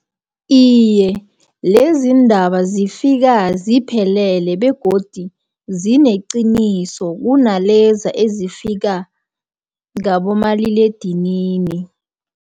Iye, lezi iindaba zifika ziphelele, begodi zinenqiniso kunalezi ezifika ngabomaliledinini.